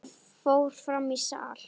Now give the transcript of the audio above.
Hann fór fram í sal.